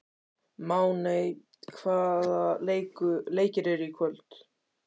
Máney, hvaða leikir eru í kvöld?